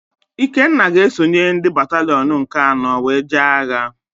Ikenna ga-esonye ndị batalịọn nke anọ wee jee agha.